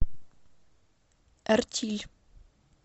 эртиль